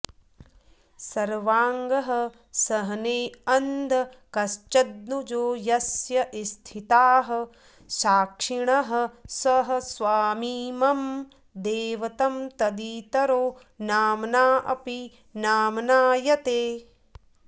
सर्वागःसहनेऽन्धकश्च दनुजो यस्य स्थिताः साक्षिणः स स्वामी मम दैवतं तदितरो नाम्नापि नाम्नायते